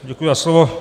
Děkuji za slovo.